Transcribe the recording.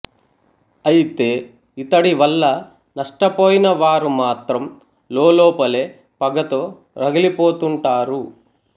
అయితే ఇతడి వల్ల నష్టపోయిన వారు మాత్రం లోలోపలే పగతో రగిలిపోతుంటారు